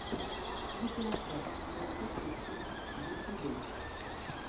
видеообзор софья пикчерс в ютюбе